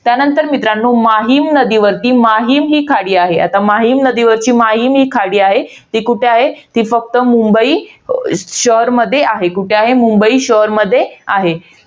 त्यानंतर मित्रांनो, माहीम नदीवर माहीम ही खाडी आहे. आता माहीम नदीवरची माहीम ही खाडी आहे. ती कुठे आहे? ती फक्त मुंबई शहरमध्ये आहे. कुठे आहे? मुंबई शहरमध्ये आहे.